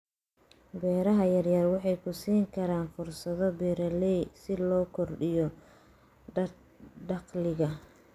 Beeraha yaryar waxay ku siin karaan fursado beeralay si loo kordhiyo dakhliga.